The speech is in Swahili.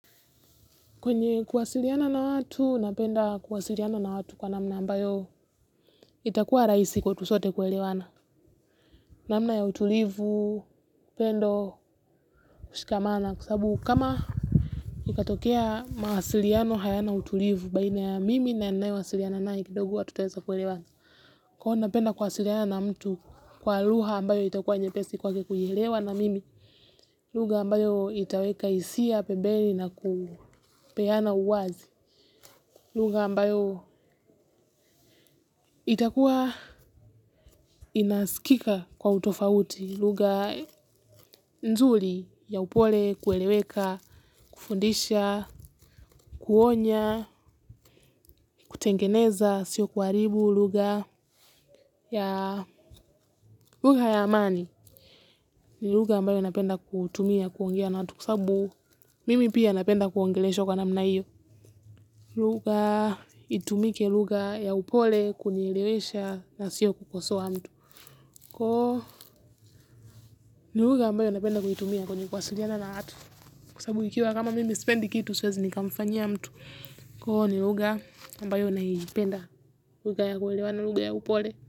Kwenye kuwasiliana na watu, napenda kuwasiliana na watu kwa namna ambayo itakuwa rahisi kwetu sote kuelewana. Namna ya utulivu, pendo, kushikamana kwa sababu kama itatokea mawasiliano hayana utulivu baina ya mimi na naye wasiliana naye kidogo hatuteza kuelewana. Kwa napenda kuwasiliana na mtu kwa lugha ambayo itakuwa nyepesi kwake kunilewa na mimi. Lugha ambayo itaweka hisia pembeni na kupeana uwazi. Lugha ambayo itakuwa inaskika kwa utofauti. Luga nzuri ya upole kueleweka, kufundisha, kuonya, kutengeneza, sio kuharibu lugha. Lugha ya amani ni lugha ambayo inapenda kutumia, kuongea na watu kwa sababu. Mimi pia napenda kuongeleshwa kwa namna iyo. Lugha, itumike lugha ya upole kunielewesha na sio kukosoana tu. Koo, ni lugha ambayo napenda kuitumia kwenye kuwasiliana na watu. Kwa sababu ikiwa kama mimi sipendi kitu siwezi nikamfanyia ya mtu. Koo, nilugha ambayo naipenda lugha ya kuelewana lugha ya upole.